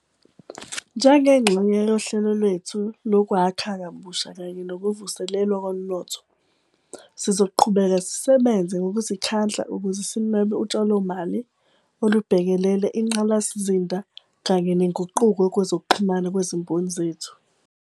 Njengengxenye yohlelo lwethu Lokwakha Kabusha kanye Nokuvuselelwa Komnotho, sizoqhubeka sisebenze ngokuzikhandla ukuze sinwebe utshalomali olubhekelele ingqalasizinda kanye nenguquko kwezokuxhumana kwezimboni zethu.